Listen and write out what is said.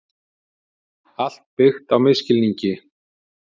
Allt byggt á misskilningi.